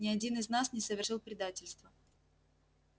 ни один из нас не совершил предательства